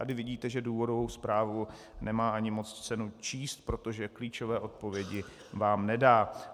Tady vidíte, že důvodovou zprávu nemá ani moc cenu číst, protože klíčové odpovědi vám nedá.